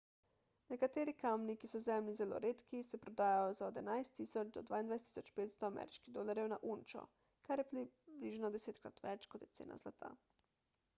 nekateri kamni ki so zemlji zelo redki se prodajajo za od 11.000 do 22.500 ameriških dolarjev na unčo kar je približno desetkrat več kot je cena zlata